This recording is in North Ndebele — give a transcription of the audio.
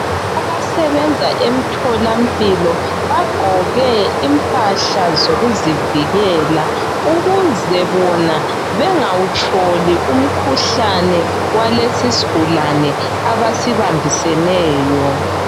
Abasebenza emtholampilo, bagqoke impahla zokuzivikela. Ukuze bona bangawutholi umkhuhlane, Walesisigulane, abasibambiseneyo.